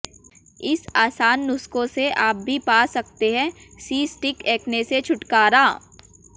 इन आसान नुस्खों से आप भी पा सकते हैं सिस्टिक एक्ने से छुटकारा